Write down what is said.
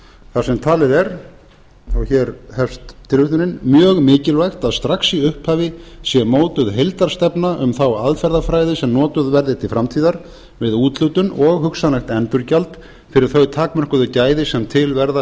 þar sem talið er mjög mikilvægt að strax í upphafi sé mótuð heildarstefna um þá aðferðafræði sem notuð verði til framtíðar við úthlutun og hugsanlegt endurgjald fyrir þau takmörkuðu gæði sem til verða